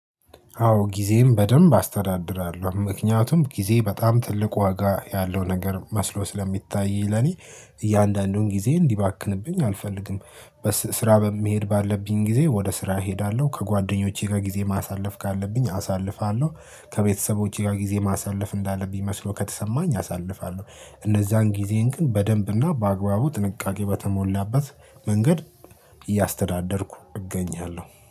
አዎ ጊዜም በደንብ አስተዳድራለሁ። ምክንያቱም ጊዜ በጣም ትልቅ ወጋ ያለው ነገር መስሎ ስለሚታይኝ ለኔ እያንዳንዱን ጊዜ እንዲባክንብኝ አልፈልግም። በስራ በመሄድ ባለብኝ ጊዜ ወደ ስራ እሄዳለሁ ከጓደኞቼ ጋር ጊዜ ማሳለፍ ካለብኝ አሳልፋለሁ። ከቤተሰቦቼ ጋር ጊዜ ማሳለፍ እንዳለብኝ መስሎ ከተሰማኝ አሳልፋለሁ። እነዛን ጊዜን ግን በደንብና በአግባቡ ጥንቃቄ በተሞላበት መንገድ እያስተዳደርኩ እገኛለሁ